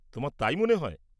তোমার তাই মনে হয়?